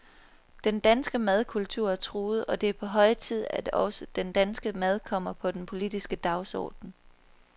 Den danske madkultur er truet, og det er på høje tid, at også den danske mad kommer på den politiske dagsorden.